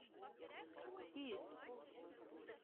кисс